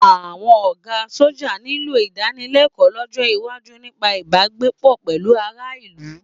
Àwọn ọ̀gá sọ́jà nílò ìdánilẹ́kọ̀ọ́ lọ́jọ́ iwájú nípa ìbágbépọ̀ pẹ̀lú aráàlú.